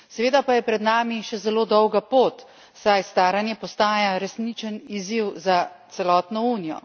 Seveda pa je pred nami še zelo dolga pot, saj staranje postaja resničen izziv za celotno Unijo.